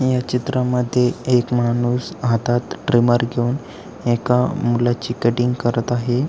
या चित्रा मध्ये एक माणूस हातात ट्रीमर घेऊन एका मुलाची कटींग करत आहे.